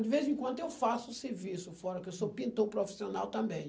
De vez em quando eu faço serviço fora, porque eu sou pintor profissional também.